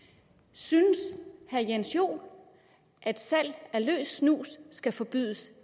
synes herre jens joel at salg af løs snus skal forbydes